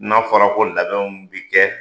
N'a fɔra ko labɛnw bɛ kɛ